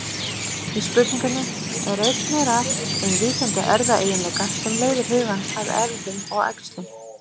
Í spurningunni er einnig rætt um víkjandi erfðaeiginleika sem leiðir hugann að erfðum og æxlun.